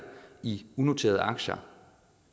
i unoterede aktier